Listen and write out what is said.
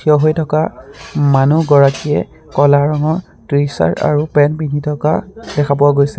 থিয় হৈ থকা মানুহ গৰাকীয়ে কলা ৰং ট্ৰিচাৰ আৰু পেন পিন্ধি থকা দেখা পোৱা গৈছে।